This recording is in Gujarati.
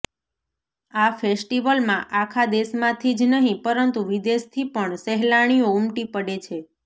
આ ફેસ્ટિવલમાં આખા દેશમાંથી જ નહીં પરંતુ વિદેશથી પણ સહેલાણીઓ ઉમટી પડે છે